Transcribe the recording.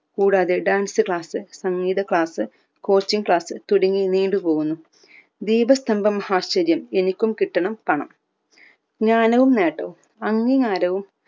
കൂടാതെ dance class സംഗീത class coaching class തുടങ്ങി നീണ്ടു പോകുന്നു വീടു സ്തംഭം ആശ്ചര്യം എനിക്കും കിട്ടണം പണം ജ്ഞാനവും നേട്ടവും അംഗീകാരവും